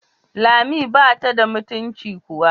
Lami bata da mutuncin kowa.